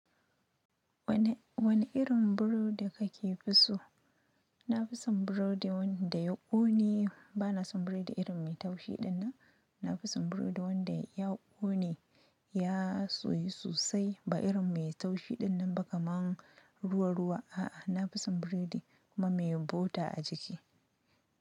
Wane, wane irin burodi kake fi so? Na fi son burodi wanda ya ƙone, ba na son burodi irin mai taushi dinnan. Na fi son burodi wanda ya ƙone, ya suyi sosai, ba irin mai taushi dinnan ba kaman ruwa-ruwa. A'a, na fi son burodi kuma mai bota a jiki.